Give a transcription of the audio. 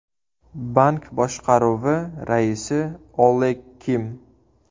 Bank boshqaruvi raisi Oleg Kim.